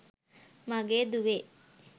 මගේ දුවේ.